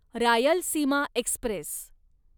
Rayalaseema Express